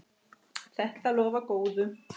Þetta lofar góðu.